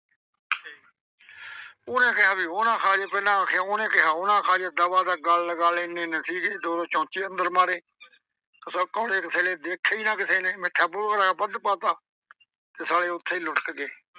ਉਹਨੇ ਕਿਹਾ ਵੀ ਉਹ ਨਾ ਖਾ ਜਏ, ਅਖ਼ੇ ਉਹਨੇ ਕਿਹਾ ਉਹ ਨਾ ਖਾ ਜਏ। ਦਬਦਬਾ ਗਲਲ ਗਲਲ ਐਨੇ ਐਨੇ ਸੀਗੇ ਦੋ ਦੋ ਚਮਚੇ ਅੰਦਰ ਮਾਰੇ। ਅੱਗੋਂ ਕਿਸੇ ਨੇ ਦੇਖੇ ਈ ਨਾ ਕਿਸੇ ਨੇ ਮਿੱਠਾ ਭੌਰਾ ਜਿਹਾ ਵੱਧ ਪਾ ਤਾ। ਤੇ ਸਾਲੇ ਉੱਥੇ ਈ ਲੁੱਟਕ ਗਏ।